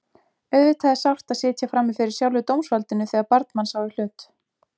Auðvitað er sárt að sitja frammi fyrir sjálfu dómsvaldinu þegar barn manns á í hlut.